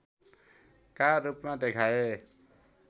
का रूपमा देखाए